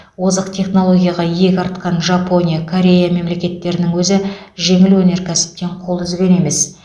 озық технологияға иек артқан жапония корея мемлекеттерінің өзі жеңіл өнеркәсіптен қол үзген емес